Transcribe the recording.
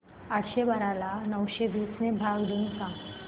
आठशे बारा ला नऊशे वीस ने भाग देऊन सांग